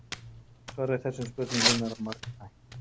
Svarið við þessum spurningum er margþætt.